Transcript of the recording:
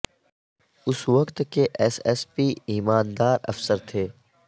اس وقت کے S S P ایماندار افسر تھے